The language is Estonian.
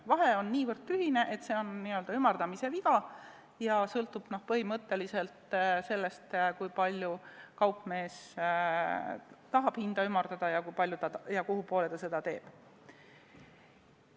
Vahe on nii tühine ja hind sõltubki põhimõtteliselt sellest, kui palju kaupmees tahab hinda ümardada ja kuhupoole ta seda teeb.